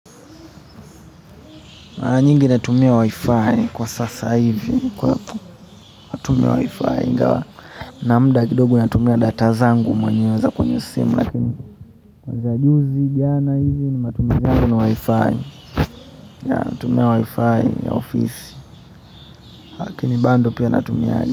Mara nyingi natumia wi-fi kwa sasa hivi kwa natumia wi-fi ingawa na muda kidogo natumia data zangu mwenyewe za kwenye simu lakini kwanzia juzi jana hivi nimetumia ni wi-fi natumia wi-fi ya ofisi lakini bado pia natumia.